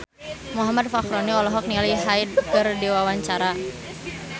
Muhammad Fachroni olohok ningali Hyde keur diwawancara